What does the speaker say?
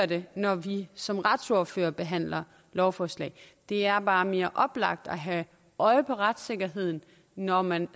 den når vi som retsordførere behandler lovforslag det er bare mere oplagt at have øje for retssikkerheden når man